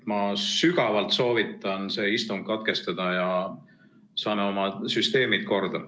Ma sügavalt soovitan see istung katkestada, et me saaksime oma süsteemi korda.